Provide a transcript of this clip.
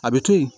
A bɛ to yen